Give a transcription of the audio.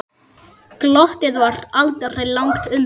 Glottið var aldrei langt undan.